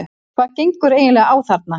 HVAÐ GENGUR EIGINLEGA Á ÞARNA?